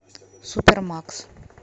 супермакс